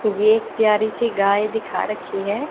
ये एक प्यारी सी गाय दिखा रखी है।